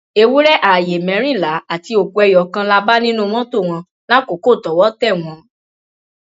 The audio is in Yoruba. ewúrẹ ààyè mẹrìnlá àti òkú ẹyọ kan la bá nínú mọtò wọn lákòókò tọwọ tẹ wọn